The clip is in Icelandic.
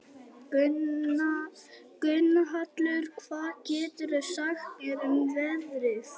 Gunnhallur, hvað geturðu sagt mér um veðrið?